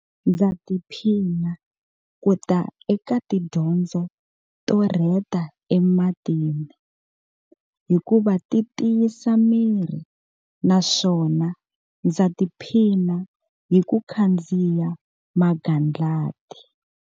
Ndza tiphina ku ta eka tidyondzo to rheta ematini hikuva ti tiyisa miri na swona ndza tiphina hi ku khandziya magandlati.